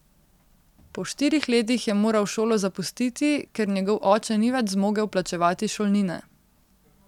Po štirih letih je moral šolo zapustiti, ker njegov oče ni več zmogel plačevati šolnine.